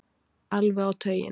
Alveg á tauginni.